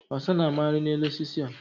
Ọsá na amaghara n'elu osisi a.